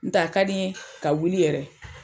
N tɛ a ka di n ye ka wuli yɛrɛ.